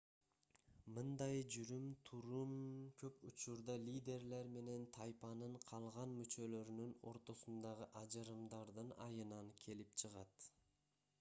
мындай жүрүм-турум көп учурда лидерлер менен тайпанын калган мүчөлөрүнун ортосундагы ажырымдардын айынан келип чыгат